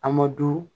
An ma du